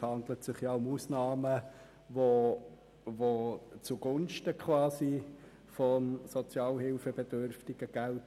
Zudem handelt es sich um Ausnahmen zugunsten des Sozialhilfebedürftigengeldes.